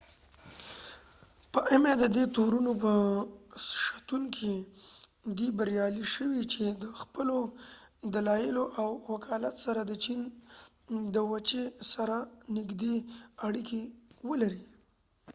ددې تورونو به شتون کې ام ایma په دي بریالی شو چې د خپلو دلایلو او وکالت سره د چېن د وچې سره نږدې اړیکې ولري